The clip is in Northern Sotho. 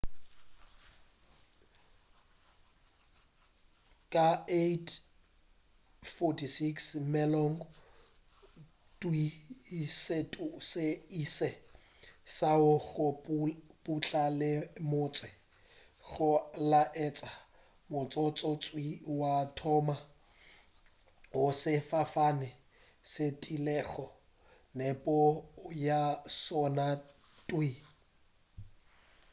ka 8:46 mesong thwii setu se ile sa wa go putla le motse go laetša motsotso thwii wa mathomo wo sefofane se bethilego nepo ya sona thwii